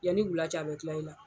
Yanni wula cɛ , a bɛ kila i la.